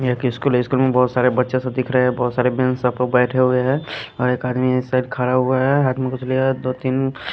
एक स्कूल है स्कूल में बहुत सारे बच्चे से दिख रहे हैं बहुत सारे मेम सब लोग बैठे हुए हैं और एक आदमी इस साइड खड़ा हुआ है हाथ में कुछ लेरा है दो तीन --